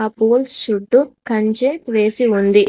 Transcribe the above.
ఆ పూల్స్ చుట్టూ కంచె వేసి ఉంది.